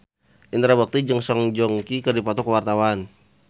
Indra Bekti jeung Song Joong Ki keur dipoto ku wartawan